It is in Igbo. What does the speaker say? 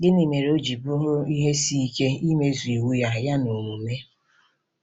Gịnị mere o ji bụrụ ihe isi ike imezu iwu Ya Ya n’omume?